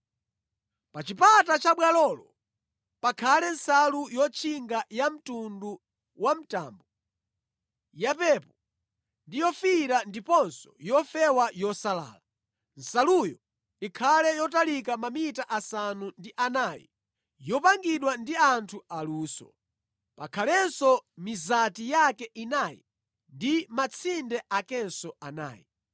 “Pa chipata cha bwalolo pakhale nsalu yotchinga yamtundu wa mtambo, yapepo ndi yofiira ndiponso yofewa yosalala. Nsaluyo ikhale yotalika mamita asanu ndi anayi, yopangidwa ndi anthu aluso. Pakhalenso mizati yake inayi ndi matsinde akenso anayi.